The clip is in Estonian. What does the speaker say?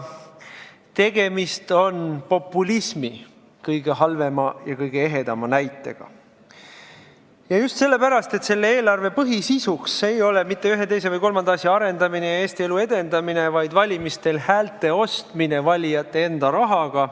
Tegemist on populismi kõige halvema ja kõige ehedama näitega, ja just sellepärast, et selle eelarve põhisisu ei ole mitte ühe, teise või kolmanda asja arendamine ja Eesti elu edendamine, vaid valimistel häälte ostmine valijate enda rahaga.